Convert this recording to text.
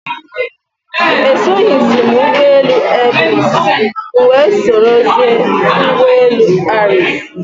Esoghizi m ụgbọelu airpeace, m wee sorozie ụgbọelu ariks